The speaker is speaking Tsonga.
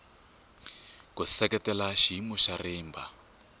ku seketela xiyimo xa rimba